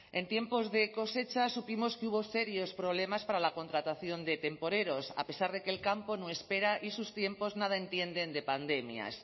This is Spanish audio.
en tiempos de cosecha supimos que hubo serios problemas para la contratación de temporeros a pesar de que el campo no espera y sus tiempos nada entienden de pandemias